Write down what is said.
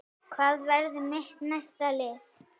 Hvað verður mitt næsta lið?